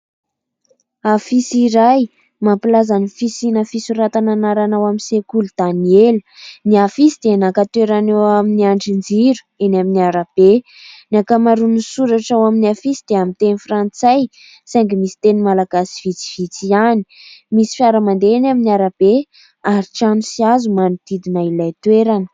Afisy iray mampilaza ny fisina fisoratana anarana ao amin'ny sekoly "Daniel" ny afisy. Dia naka toerana eo amin'ny andrin-jiro eny amin'ny arabe ny an-kamarona no soratra ao amin'ny afisy dia amin'ny teny frantsay saingy misy teny malagasy vitsivitsy ihany. Misy fiara mandeha ny amin'ny arabe ary trano sy hazo manodidina ilay toerana.